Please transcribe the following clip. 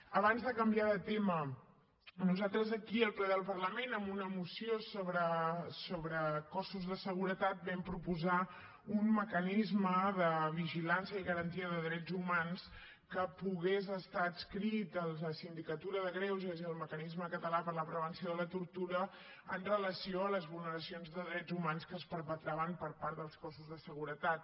abans de canviar de tema nosaltres aquí al ple del parlament en una moció sobre cossos de seguretat vam proposar un mecanisme de vigilància i garantia de drets humans que pogués estar adscrit a la sindicatura de greuges i al mecanisme català per a la prevenció de la tortura amb relació a les vulneracions de drets humans que es perpetraven per part dels cossos de seguretat